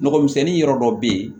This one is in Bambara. Nɔgɔmisɛnni yɔrɔ dɔ bɛ yen